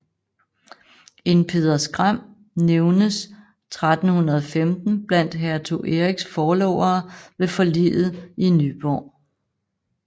En Peder Skram nævnes 1315 blandt hertug Eriks forlovere ved forliget i Nyborg